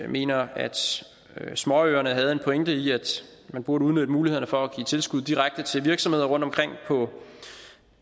mener at småøerne havde en pointe i at man burde udnytte mulighederne for at give tilskud direkte til virksomheder rundtomkring